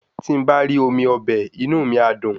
Tí n̄ bá rí omi ọbẹ̀, inú mi á dùn